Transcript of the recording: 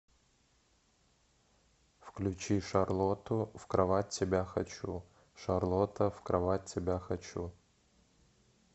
включи шарлоту в кровать тебя хочу шарлота в кровать тебя хочу